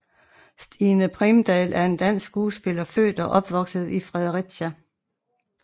Stine Primdahl er en dansk skuespiller født og opvokset i Fredericia